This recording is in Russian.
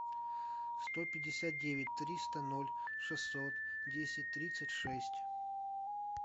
сто пятьдесят девять триста ноль шестьсот десять тридцать шесть